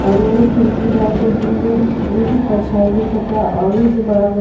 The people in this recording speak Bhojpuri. औरु एगो खिड़की बा जो दूगो एमें कुछ परछाई दिखता औरु जो बड़ा घर --